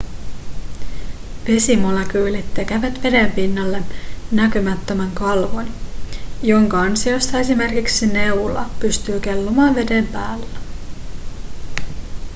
vesimolekyylit tekevät veden pinnalle näkymättömän kalvon jonka ansiosta esimerkiksi neula pystyy kellumaan veden päällä